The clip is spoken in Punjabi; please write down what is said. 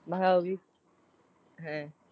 ਮਹਾ ਉਹ ਵੀ ਹੈਂ।